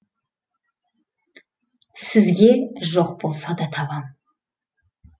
сізге жоқ болса да табам